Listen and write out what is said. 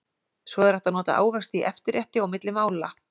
Svo er hægt að nota ávexti í eftirrétti og milli mála.